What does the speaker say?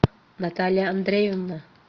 наталья андреевна